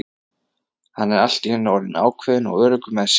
Hann er allt í einu orðinn ákveðinn og öruggur með sig.